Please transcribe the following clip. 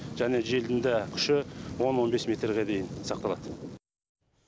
және желдің дә күші он он бес метрге дейін сақталады